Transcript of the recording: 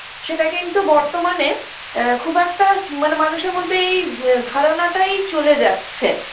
সেটা কিন্তু বর্তমানে আ খুব একটা মানে মানুষের মধ্যে এই ধারণাটাই চলে যাচ্ছে